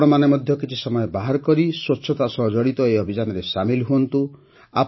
ଆପଣମାନେ ମଧ୍ୟ କିଛି ସମୟ ବାହାର କରି ସ୍ୱଚ୍ଛତା ସହ ଜଡ଼ିତ ଏହି ଅଭିଯାନରେ ସାମିଲ ହୁଅନ୍ତୁ